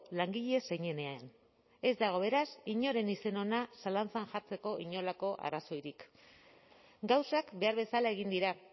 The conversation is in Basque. langile zeinenean ez dago beraz inoren izen ona zalantzan jartzeko inolako arrazoirik gauzak behar bezala egin dira